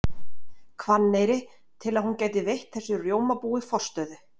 Hvanneyri til að hún gæti veitt þessu rjómabúi forstöðu.